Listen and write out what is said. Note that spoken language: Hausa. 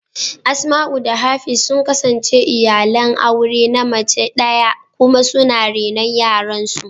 Asmau da Hafiz sun kasance iyalan aure na mace daya kuma suna renon yaran su.